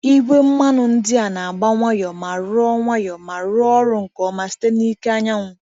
Igwe mmanụ ndị a na-agba nwayọ ma rụọ nwayọ ma rụọ ọrụ nke ọma site na ike anyanwụ.